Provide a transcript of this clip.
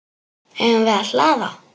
Eigum við að hlaða?